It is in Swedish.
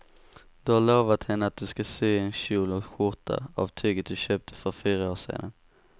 Du har lovat henne att du ska sy en kjol och skjorta av tyget du köpte för fyra år sedan.